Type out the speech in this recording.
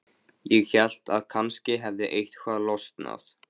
Ég hélt að kannski hefði eitthvað losnað.